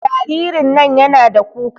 Jaririn nan yana da kuka